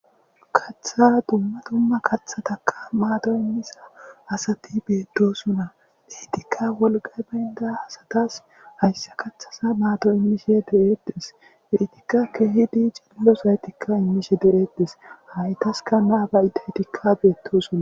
katha dumma dumma kathataka maato immisa asati beeddosunna biitikka wolqay baynda asatas hayssa kaththasa maato immishe de7eettes biitikka keehi dii cililo saytikka immishe de7eettes haytaska naabayi detikka beettosuna